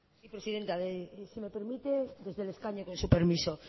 presidenta si me permite desde el escaño con su permiso